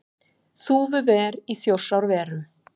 Þúfuver í Þjórsárverum.